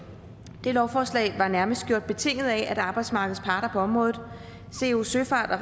det lovforslag var nærmest gjort betinget af at arbejdsmarkedets parter på området co søfart og